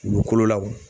Dugukolo la wo